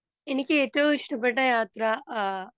speaker 2 എനിക്ക് ഏറ്റവും ഇഷ്ടപെട്ട യാത്ര ആ